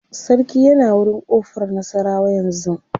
sarki yana wurin ƙofar nasarawa yanzun